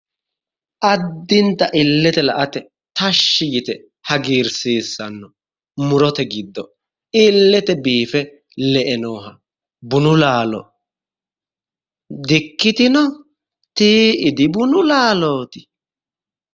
Addinta illete la'ate tashshi yite hagiirsiissanno murote giddo illete biife le'e bunu laalo di"ikkitino? Tii'i dibunu laalooti?